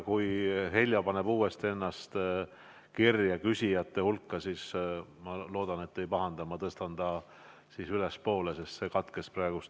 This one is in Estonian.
Kui Heljo paneb uuesti ennast küsijate hulka kirja, siis ma loodan, et te ei pahanda, kui tõstan ta ettepoole, sest ühendus katkes praegu.